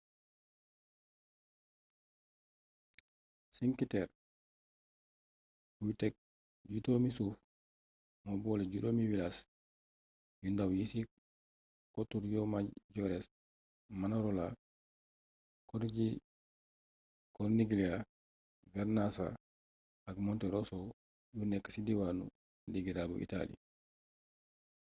cinque terre buy tekk jutóomi suuf moo boole juróomi wilaas yu ndaw yi ci kotu riomaggiore manarola corniglia vernazza ak monterosso yu nekk ci diiwaanu liguira bu itaali